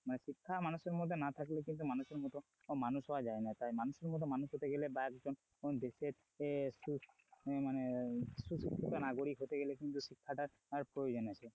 মানে শিক্ষা মানুষের মধ্যে না থাকলে কিন্তু মানুষের মত মানুষ হওয়া যায় না তাই মানুষের মত মানুষ হতে গেলে বা একজন দেশের আহ মানে সুস্থ নাগরিক হতে গেলে কিন্তু শিক্ষাটার প্রয়োজন আছে।